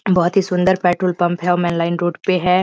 बहुत ही सुंदर पेट्रोल पंप है और मैन लाइन रोड पे है।